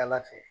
Ala fɛ